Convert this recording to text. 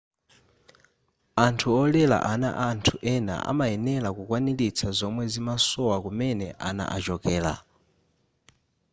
anthu olera ana a anthu ena amayenera kukwanilitsa zomwe zimasowa kumene ana achokera